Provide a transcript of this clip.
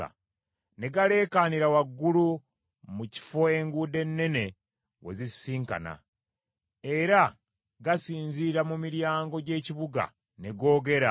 Ne galeekaanira waggulu, mu kifo enguudo ennene we zisisinkanira, era gasinzira mu miryango gy’ekibuga ne googera: